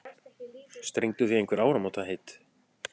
Strengduð þið einhver áramótaheit?